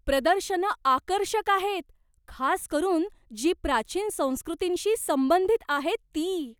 प्रदर्शनं आकर्षक आहेत, खास करून जी प्राचीन संस्कृतींशी संबंधित आहेत ती.